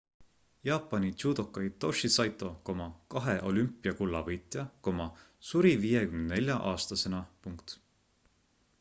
jaapani judoka hitoshi saito kahe olümpiakulla võitja suri 54 aastasena